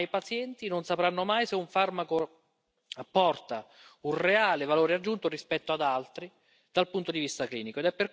Ma i pazienti non sapranno mai se un farmaco apporta un reale valore aggiunto rispetto ad altri, dal punto di vista clinico.